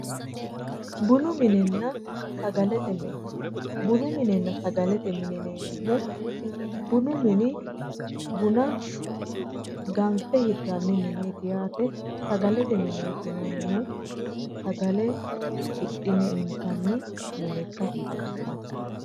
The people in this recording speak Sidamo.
Bunu minenna sagalete mine, bunu minenna sagalete mine yineemmohu bunu mini buna ganfe hirranni mineeti, sagalete mineeti yinannihu sagale hidhi'ne intanni mine ikkasi xawissanno.